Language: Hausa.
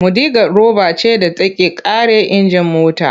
Mudigad roba ce da take kare injin mota.